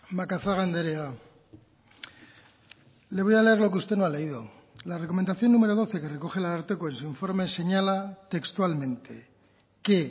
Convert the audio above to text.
macazaga andrea le voy a leer lo que usted no ha leído la recomendación número doce que recoge el ararteko es su informe señala textualmente que